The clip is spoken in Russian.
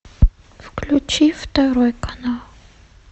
включи второй канал